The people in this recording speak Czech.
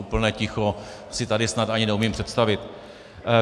Úplné ticho si tady snad ani neumím představit.